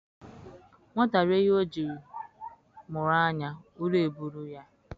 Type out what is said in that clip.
Nwata rie ihe o jii mụrụ anya, ụra eburu ya